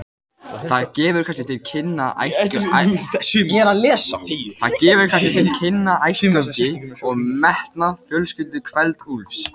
Það gefur kannski til kynna ættgöfgi og metnað fjölskyldu Kveld-Úlfs.